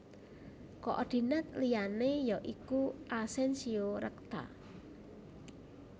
Koordinat liyané ya iku Asensio rekta